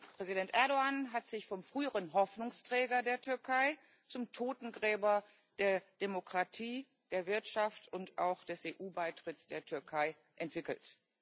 Präsident Erdoğan hat sich vom früheren Hoffnungsträger der Türkei zum Totengräber der Demokratie, der Wirtschaft und auch des EU Beitritts der Türkei entwickelt.